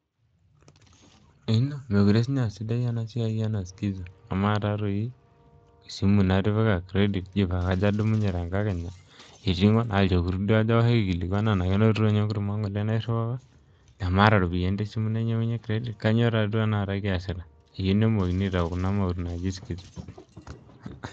Meekure siininye aasidai ena siai ena sikiza amaa taatoi esimu natipika credit paa kajo adumunye tenkakenya eiting'o naa ilchokuti duo ajo aoshoki aikilikuan enaa kenoto ninye enkurma ng'ole nairriwaka nemaata iropiyiani te esimu nainyiang'unyie credit kainyioo taaduo tanakata kiasita iyieu nemookini aitau kuna mauti naaji sikiza.